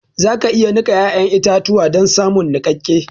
za ka iya nika ya'yan itatuwa don samun nikakke